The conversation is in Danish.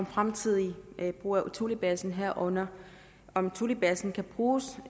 fremtidige brug af thulebasen herunder om thulebasen kan bruges